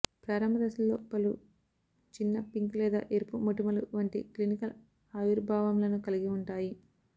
ప్రారంభ దశలలో పలు చిన్న పింక్ లేదా ఎరుపు మొటిమలు వంటి క్లినికల్ ఆవిర్భావములను కలిగి ఉంటాయి